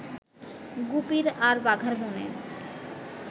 গুপির আর বাঘার মনে